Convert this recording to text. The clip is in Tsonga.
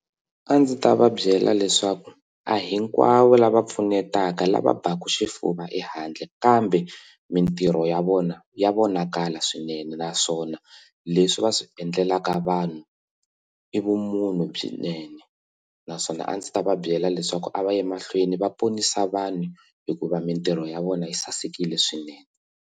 A ndzi ta va byela leswaku a hinkwavo lava pfunetaka lava baku xifuva ehandle kambe mitirho ya vona ya vonakala swinene naswona leswi va swi endlelaka vanhu i vumunhu byinene naswona a ndzi ta va byela leswaku a va yi mahlweni va ponisa vanhu hikuva mitirho ya vona yi sasekile swinene.